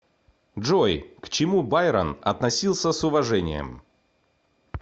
джой к чему байрон относился с уважением